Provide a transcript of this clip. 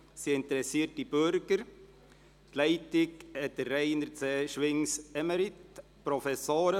Es sind interessierte Bürger unter der Leitung von Rainer C. Schwinges, Prof.